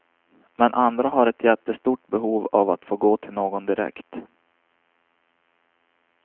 Men andra har ett jättestort behov av att få gå till någon direkt.